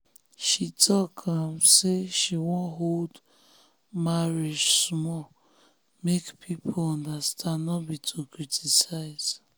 she talk um say she wan hold um marriage small make people understand no be um to criticize.